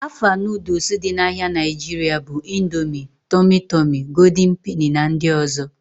Afa noodules dị n'ahia Nigeria bụ Indomie, Tumi Tumi, Gooldin Peni na ndị ọzọ